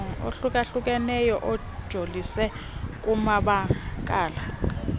ohlukahlukeneyo ajolise kumabakala